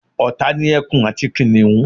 ọ̀tá ni ẹkun àti kìnìhún